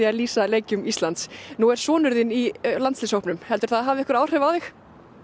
að lýsa leikjum Íslands nú er sonur þinn í landsliðshópnum heldurðu að það hafi einhver áhrif á þig